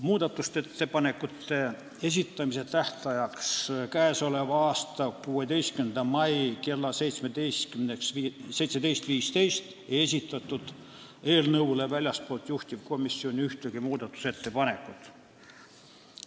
Muudatusettepanekute esitamise tähtajaks, k.a 16. maiks kella 17.15-ks ei esitatud eelnõu kohta väljastpoolt juhtivkomisjoni ühtegi muudatusettepanekut.